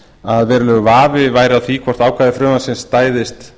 að verulegur vafi væri á því hvort ákvæði frumvarpsins stæðist